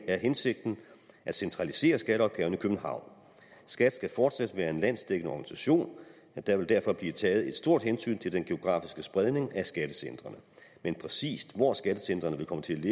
er hensigten at centralisere skatteopgaverne i københavn skat skal fortsat være en landsdækkende organisation og der vil derfor blive taget et stort hensyn til den geografiske spredning af skattecentrene men præcis hvor skattecentrene vil komme til